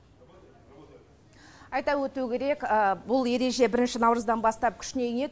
айта өту керек бұл ереже бірінші наурыздан бастап күшіне енеді